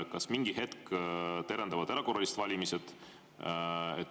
Kas mingi hetk terendavad erakorralised valimised?